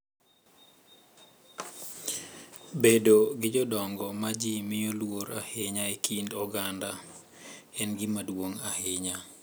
Bedo gi jodongo, ma ji miyo luor ahinya e kind oganda, en gima duong’ ahinya.